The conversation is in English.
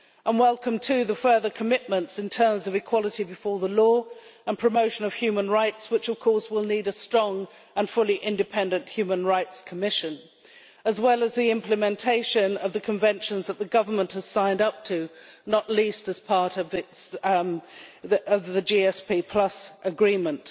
We welcome, too, the further commitments in terms of equality before the law and the promotion of human rights, which of course will need a strong and fully independent human rights commission, as well as the implementation of the conventions that the government has signed up to, not least as part of the GSP agreement.